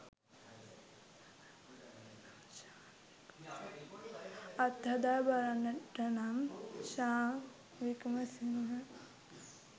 අත්හදා බලන්නට නම් ෂාන් වික්‍රමසිංහත්